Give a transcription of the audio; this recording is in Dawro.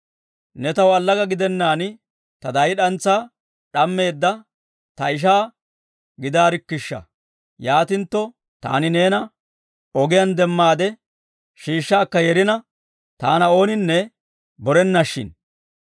Ne taw allaga gidennaan ta daayi d'antsaa d'ammeedda ta ishaa gidaarikkiishsha! Yaatintto taani neena ogiyaan demmaade shiishsha akka yerina, taana ooninne borennashin.